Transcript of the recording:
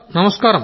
నమస్కారం